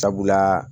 Sabula